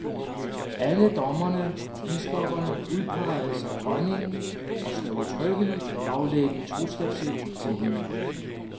Alle dommere og biskopper udpeges af dronningen og skal udtrykkeligt aflægge troskabsed til hende.